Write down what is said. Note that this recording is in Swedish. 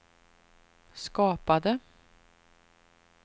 skapade